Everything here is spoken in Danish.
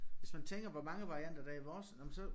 Hvis man tænker hvor mange varianter der er i vores når man så